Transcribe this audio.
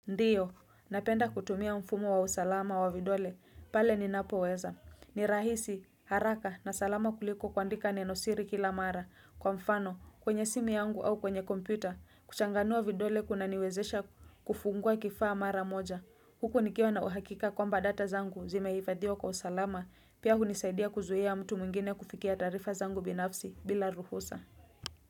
Ndiyo, napenda kutumia mfumo wa usalama wa vidole, pale ninapo weza. Ni rahisi, haraka na salama kuliko kuandika neno siri kila mara. Kwa mfano, kwenye simu yangu au kwenye kompyuta, kuchanganua vidole kunaniwezesha kufungua kifaa mara moja. Huko nikiwa na uhakika kwamba data zangu zimehifadhiwa kwa usalama, pia hunisaidia kuzuia mtu mwingine kufikia taarifa zangu binafsi bila ruhusa.